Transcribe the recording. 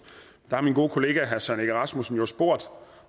min gode kollega herre søren egge rasmussen har jo spurgt